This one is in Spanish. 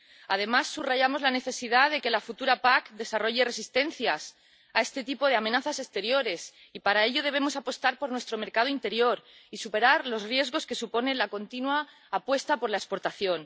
Además, subrayamos la necesidad de que la futura PAC desarrolle resistencias a este tipo de amenazas exteriores y para ello debemos apostar por nuestro mercado interior y superar los riesgos que suponen la continua apuesta por la exportación.